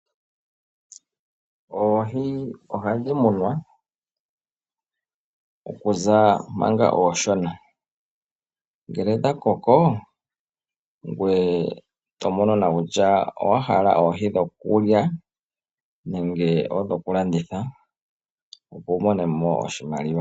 Oohi ohadhi munwa, okuza manga oonshona ngele odha koko ngoye to mono kutya owahala oohi dhokulya nenge odho ku landitha, opo wu mone mo oshimaliwa.